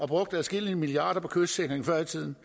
brugt adskillige milliarder kroner på kystsikring før i tiden